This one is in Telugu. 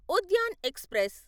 ఉద్యాన్ ఎక్స్ప్రెస్